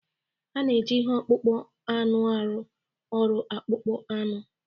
A na-eji ihe akpụkpọ anụ arụ ọrụ akpụkpọ anụ.